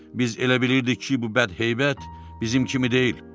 Biz elə bilirdik ki, bu bədheybət bizim kimi deyil.